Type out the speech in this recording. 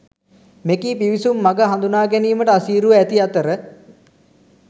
මෙකී පිවිසුම් මග හඳුනාගැනීමට අසීරුව ඇති අතර